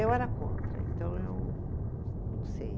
Eu era contra, então eu não sei.